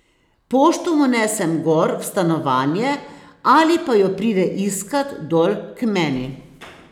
Pošto mu nesem gor v stanovanje ali pa jo pride iskat dol k meni.